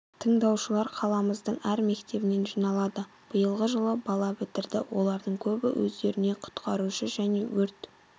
тыңдаушылар қаламыздың әр мектебінен жиналады биылғы жылы бала бітірді олардың көбі өздеріне құтқарушы және өрт